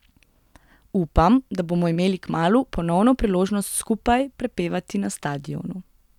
Upam, da bomo imeli kmalu ponovno priložnost skupaj prepevati na stadionu.